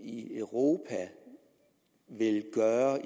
i europa vil gøre